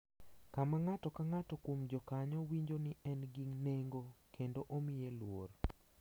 Kama ng’ato ka ng’ato kuom jokanyo winjo ni en gi nengo kendo omiye luor.